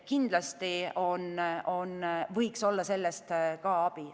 Kindlasti võiks sellest abi olla.